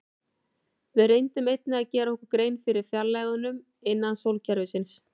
Við reyndum einnig að gera okkur grein fyrir fjarlægðunum innan sólkerfisins.